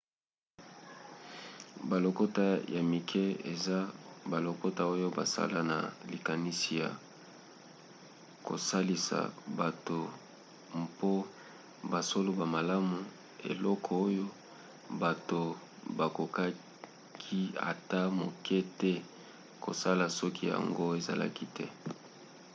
balokota ya mike eza balokota oyo basala na likanisi ya kosalisa bato mpo basolola malamu; eloko oyo bato bakokaki ata moke te kosala soki yango ezalaki te